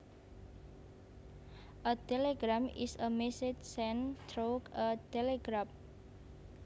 A telegram is a message sent through a telegraph